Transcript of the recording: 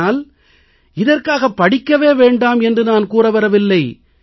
ஆனால் இதற்காக படிக்கவே வேண்டாம் என்று நான் கூற வரவில்லை